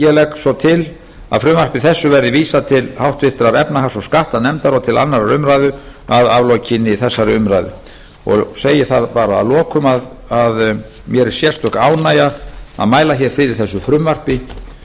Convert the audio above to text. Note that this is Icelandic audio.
legg ég til að frumvarpi þessu verði vísað til háttvirtrar efnahags og skattanefndar og til annarrar umræðu að aflokinni þessari umræðu ég segi að lokum að mér er sérstök ánægja að mæla hér fyrir þessu frumvarpi og